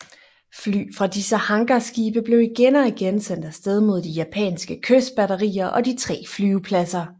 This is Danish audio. Fly fra disse hangarskibe blev igen og igen sendt af sted mod de japanske kystbatterier og de tre flyvepladser